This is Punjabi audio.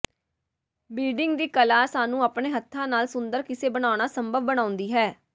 ਬੀਡਿੰਗ ਦੀ ਕਲਾ ਸਾਨੂੰ ਆਪਣੇ ਹੱਥਾਂ ਨਾਲ ਸੁੰਦਰ ਕਿੱਸੇ ਬਣਾਉਣਾ ਸੰਭਵ ਬਣਾਉਂਦੀ ਹੈ